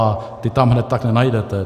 A ty tam hned tak nenajdete.